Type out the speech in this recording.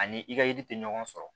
Ani i ka yiri te ɲɔgɔn sɔrɔ